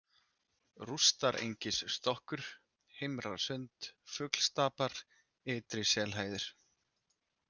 Rústarengisstokkur, Heimrasund, Fuglstapar, Ytri-Selhæðir